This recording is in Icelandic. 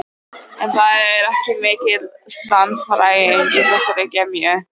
En það var ekki mikil sannfæring í þessari gremju.